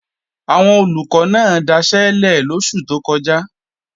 Àwọn Olùkọ́ náà daṣẹ́lẹ̀ lóṣù tó kọjá